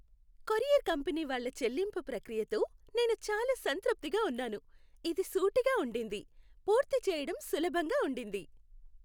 Courier company వాళ్ళ చెల్లింపు ప్రక్రియతో నేను చాలా సంతృప్తిగా ఉన్నాను. ఇది సూటిగా ఉండింది, పూర్తి చేయడం సులభంగా ఉండింది.